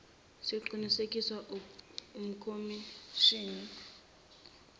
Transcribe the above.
siqinisekiswa ukhomishnni ofungusayo